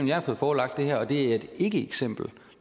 jeg har fået forelagt og det er et ikkeeksempel